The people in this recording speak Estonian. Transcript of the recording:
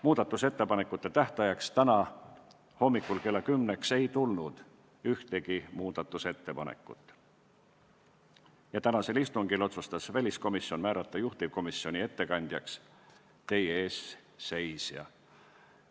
Muudatusettepanekute esitamise tähtajaks, täna hommikul kella 10-ks ei tulnud meile ühtegi muudatusettepanekut ja oma tänasel istungil otsustas väliskomisjon määrata juhtivkomisjoni ettekandjaks teie ees seisja.